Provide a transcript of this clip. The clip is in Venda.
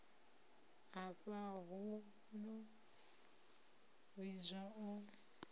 afha hu no vhidzwa u